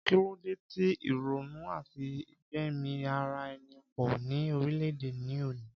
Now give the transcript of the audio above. Kí ló de ti ìrònú àti gbẹ̀mí ara ẹni po ni orile-ede ní òní